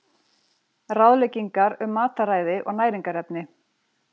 Ráðleggingar um mataræði og næringarefni.